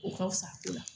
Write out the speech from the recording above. O ka fisa